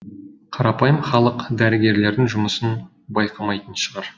қарапайым халық дәрігерлердің жұмысын байқамайтын шығар